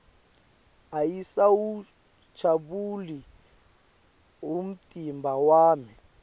ayisawucabuli umtimba wami